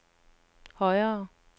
højere